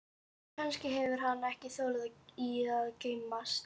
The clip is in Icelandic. En kannski hefur hann ekki þolað að geymast.